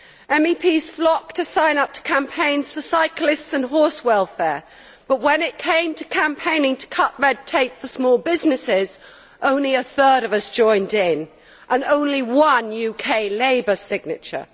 MEPs flock to sign up to campaigns for cyclists and horse welfare, but when it came to campaigning to cut red tape for small businesses, only a third of us joined in and there was only one UK Labour signature.